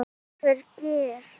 Leifur Geir.